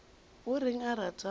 o reng a rata go